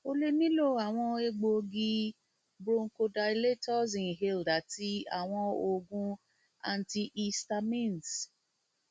o le nilo awọn egboogi awọn bronchodilators inhaled ati awọn oogun antihistamines